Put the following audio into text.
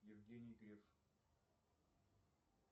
евгений греф